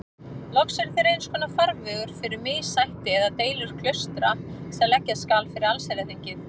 Loks eru þeir einskonar farvegur fyrir missætti eða deilur klaustra sem leggja skal fyrir allsherjarþingið.